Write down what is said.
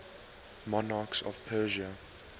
monarchs of persia